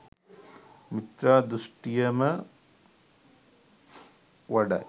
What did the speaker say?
මිත්‍යා දෘෂ්ඨියම වඩයි.